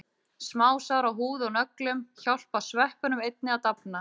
Smásár á húð og nöglum hjálpa sveppunum einnig að dafna.